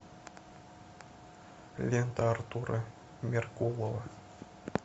лента артура меркулова